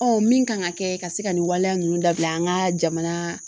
min kan ka kɛ ka se ka nin waleya ninnu dabila an ka jamana